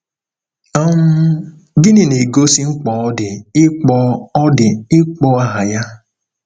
um Gịnị na-egosi mkpa ọ dị ịkpọ ọ dị ịkpọ aha ya?